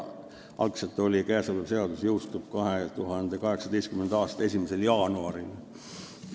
Algselt oli eelnõus, et käesolev seadus jõustub 2018. aasta 1. jaanuaril.